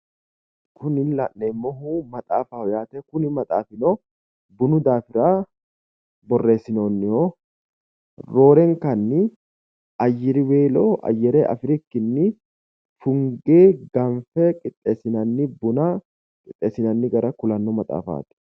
Kuni la'neemmohu maxaafaho yaate. Kuni maxaafino bunu daafira Borreessinoonnihuno roorenkanni ayyriweelo ayyire afirikkinni funge ganfe qixxeessinanni buna qixxeessinanni gara leellishanno maxaafaati.